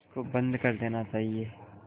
इसको बंद कर देना चाहिए